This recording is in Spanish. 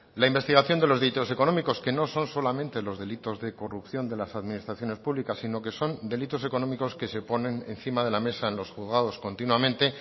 la investigación de los delitos económicos que no son solamente los delitos de corrupción de las administraciones públicas sino que son delitos económicos que se ponen encima de la mesa en los juzgados continuamente